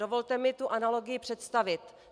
Dovolte mi tu analogii představit.